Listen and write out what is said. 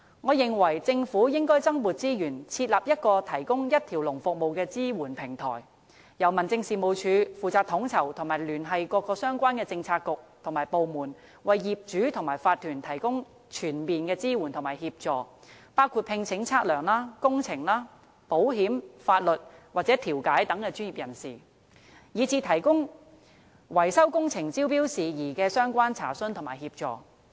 我認為，政府應該增撥資源，設立一個提供一條龍服務的支援平台，由民政事務總署負責統籌及聯繫政府各相關政策局與部門，為業主和法團提供全面支援和協助，包括聘請測量、工程、保險、法律和調解等專業人士，以至回答維修工程招標事宜的相關查詢和提供協助。